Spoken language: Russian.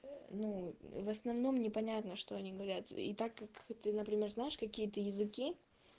ну в основном непонятно что они говорят и так как ты например знаешь какие-то языки